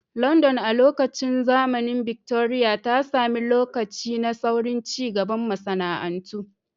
London, a lokacin zamanin Victoria, ta sami lokaci na saurin cigaban masana'antu.